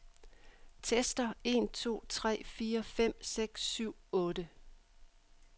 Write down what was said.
Tester en to tre fire fem seks syv otte.